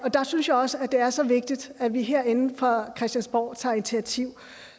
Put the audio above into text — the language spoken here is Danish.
der synes jeg også at det er så vigtigt at vi herinde fra christiansborg tager initiativ